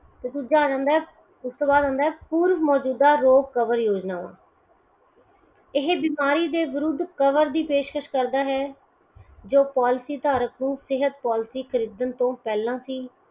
ਤੇ ਦੂਜਾ ਆ ਜਾਂਦਾ ਹੈ ਉਸ ਤੋਂ ਬਾਅਦ ਆਉਂਦਾ ਪੂਰਵ ਮੋਜੂਦਾ ਰੋਗ cover ਯੋਜਨਾ । ਇਹ ਬਿਮਾਰੀ ਦੇ ਵਿਰੁਧ cover ਦੀ ਪੇਸ਼ਕਸ਼ ਕਰਦਾ ਹੈ ਜੋ policy ਧਾਰਕ ਨੂੰ ਸਿਹਤ policy ਖਰੀਦਨ ਤੋ ਪਹਿਲਾਂ ਹੀ